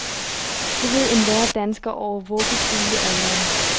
Det ved enhver dansker over vuggestuealderen.